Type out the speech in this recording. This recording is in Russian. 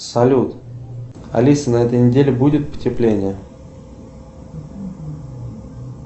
салют алиса на этой неделе будет потепление